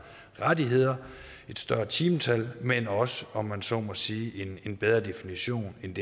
rettigheder og et større timetal men også om man så må sige en bedre definition end